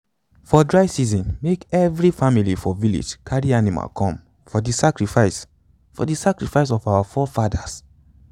for dry season make every family for village carry animal come for the sacrifice for the sacrifice of our forefathers.